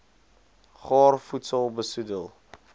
gaar voedsel besoedel